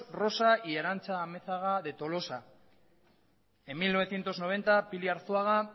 rosa y arantxa amezaga de tolosa en mil novecientos noventa pili arzuaga